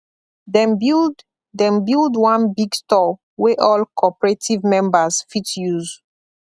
dem build dem build one big store wey all cooperative members fit use